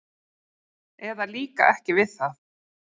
eða líka ekki við það.